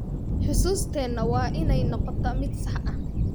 Xusuusteena waa inay noqotaa mid sax ah.